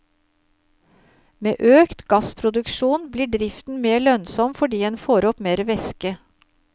Med økt gassproduksjon, blir driften mer lønnsom fordi en får opp mer væske.